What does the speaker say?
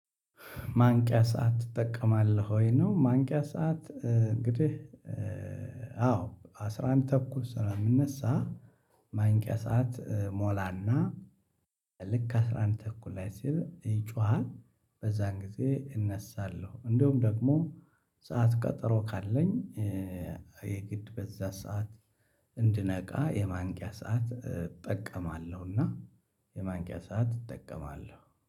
ማንቂያ ሰዓት ትጠቀማለህ ወይ ነው? ማንቂያ ሰዓት እንግዲህ አዎ አስራ አንድ ተኩስ ስለምነሳ። ማንቂያ ሰዓት እሞላና ልክ አስራ አንድ ተኩል ላይ ሲል ይጮሃል በዛን ጊዜ እነሳለሁ። እንደውም ደግሞ ሰዓት ቀጠሮ ካለኝ የግድ በዛ ሰዓት እንድነቃ የማንቂያ ሰዓት እጠቀማለሁ። እና የማንቂያ ሰዓት እጠቀማለሁ